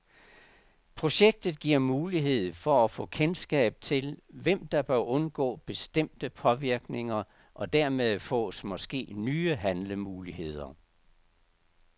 Projektet giver mulighed for at få kendskab til, hvem der bør undgå bestemte påvirkninger, og dermed fås måske nye handlemuligheder.